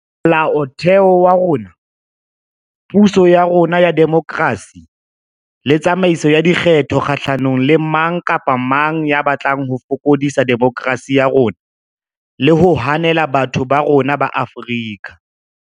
Mola otheo wa rona, puso ya rona ya demokerasi le tsamaiso ya dikgetho kgahlanong le mang kapa mang ya batlang ho fokodisa demokerasi ya rona le ho hanela batho ba rona ba Afrika.